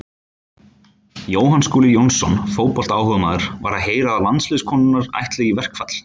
Jóhann Skúli Jónsson, fótboltaáhugamaður: Var að heyra að landsliðskonurnar ætli í verkfall.